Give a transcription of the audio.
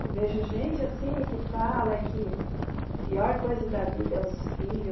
Eu vejo gente assim que fala que a pior coisa da vida é os filhos.